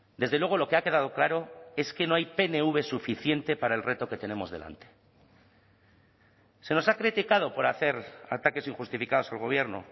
desde luego lo que ha quedado claro es que no hay pnv suficiente para el reto que tenemos delante se nos ha criticado por hacer ataques injustificados al gobierno